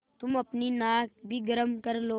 तुम अपनी नाक भी गरम कर लो